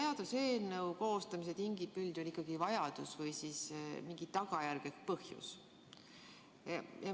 Seaduseelnõu koostamise tingib üldjuhul ikkagi vajadus või mingi tagajärg põhjus.